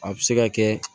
A bɛ se ka kɛ